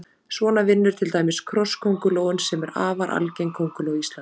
Svona vinnur til dæmis krosskóngulóin sem er afar algeng kónguló á Íslandi.